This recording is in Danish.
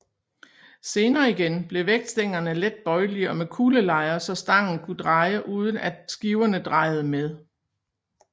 Senere igen blev vægtstængerne let bøjelige og med kuglelejer så stangen kunne dreje uden at skiverne drejede med